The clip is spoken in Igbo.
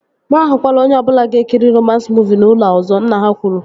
Mụ ahụkwala onye ọbụla ga-ekiri romans muuvi n'ụlọ a ọzọ! Nna ha kwuru